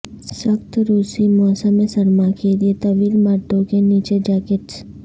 سخت روسی موسم سرما کے لئے طویل مردوں کے نیچے جیکٹس